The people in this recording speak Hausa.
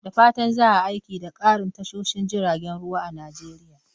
Da fatan za a yi aiki da ƙarin tashoshin jiragen ruwa a Najeriya.